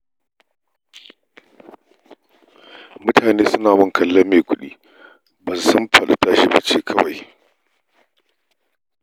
Mutane suna min kallon mai kudi, ba su san faɗi-tashi ce ba kawai